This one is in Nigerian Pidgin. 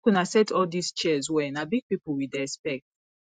make una set all dis chairs well na big people we dey expect